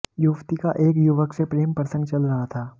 युवती का एक युवक से प्रेम प्रसंग चल रहा था